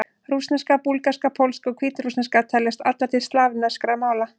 Rússneska, búlgarska, pólska og hvítrússneska teljast allar til slavneskra mála.